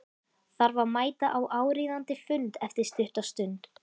Þarf að mæta á áríðandi fund eftir stutta stund.